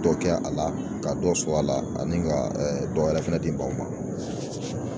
Dɔ kɛ a la ka dɔ sɔrɔ a la ani ka ɛ dɔ wɛrɛ fɛnɛ di maaw ma.